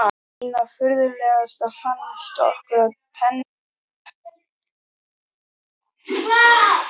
Einna furðulegast fannst okkur að tennur stelpunnar virtust þola allt.